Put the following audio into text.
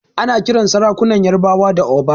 Ana kiran sarakunan ƴarbawa da Oba.